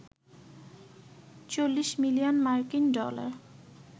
৪০ million মার্কিন dollar